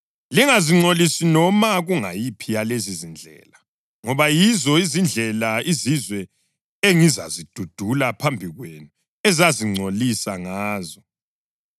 Lingazingcolisi noma kungayiphi yalezizindlela, ngoba yizo izindlela izizwe engizazidudula phambi kwenu ezazingcolisa ngazo.